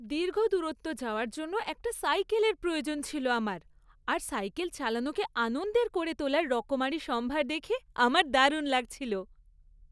দীর্ঘ দূরত্ব যাওয়ার জন্য একটা সাইকেলের প্রয়োজন ছিল আমার, আর সাইকেল চালানোকে আনন্দের করে তোলার রকমারি সম্ভার দেখে আমার দারুণ লাগছিল!